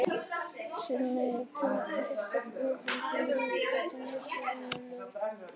Í sumum tilfellum þarf sérstaka meðhöndlun með lyfjum eða breyttar neysluvenjur.